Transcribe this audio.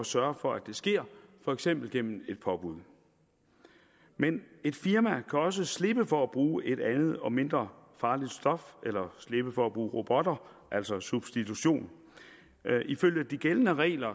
sørge for at det sker for eksempel gennem et påbud men et firma kan også slippe for at bruge et andet og mindre farligt stof eller slippe for at bruge robotter altså substitution ifølge de gældende regler